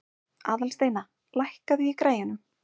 Aðalsteina, lækkaðu í græjunum.